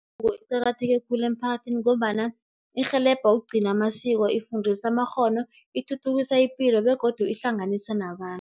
Kuqakatheke khulu emphakathini, ngombana irhelebha ukugcina amasiko, ifundisa amakghono, ithuthukisa ipilo begodu ihlanganisa nabantu.